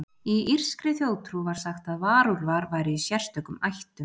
Í írskri þjóðtrú var sagt að varúlfar væru í sérstökum ættum.